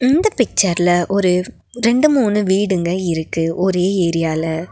இந்த பக்சர்ல ஒரு ரெண்டு மூணு வீடுங்க இருக்கு ஒரே ஏரியால .